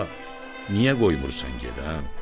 Bala, niyə qoymursan gedən?